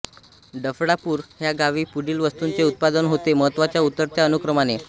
डफळापूर ह्या गावी पुढील वस्तूंचे उत्पादन होते महत्त्वाच्या उतरत्या अनुक्रमाने